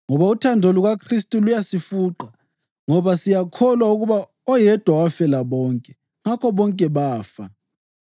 Ngoba uthando lukaKhristu luyasifuqa, ngoba siyakholwa ukuba oyedwa wafela bonke, ngakho bonke bafa.